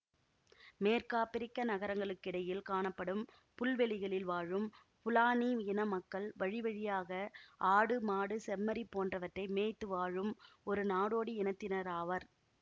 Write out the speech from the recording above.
மேற்காபிரிக்க நகரங்களுக்கிடையில் காணப்படும் புல்வெளிகளில் வாழும் ஃபுலானி இன மக்கள் வழிவழியாக ஆடு மாடு செம்மறி போன்றவற்றை மேய்த்து வாழும் ஒரு நாடோடி இனத்தினராவர்